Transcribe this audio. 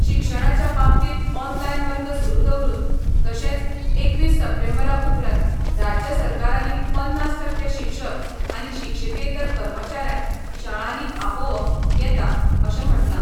शिक्षणाच्या बाबतींत ऑनलायन वर्ग सुरु दवरुन तशेंच एकवीस सप्टेंबरा उपरांत राज्य सरकारानी पन्नास टक्के शिक्षक आनी शिक्षिकेतर कर्मचाऱ्यांक शाळांनी आपोवंक येता अशें म्हटला.